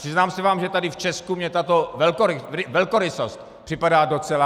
Přiznám se vám, že tady v Česku mě tato velkorysost připadá docela...